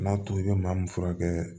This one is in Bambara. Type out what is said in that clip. N'a to i bɛ maa min furakɛ